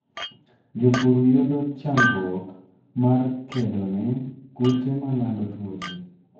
Jopur yudo chandruok mar kedone kute malando tuoche